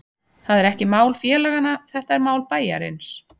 Það er ekki mál félaganna, þetta er mál bæjarins.